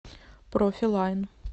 профи лайн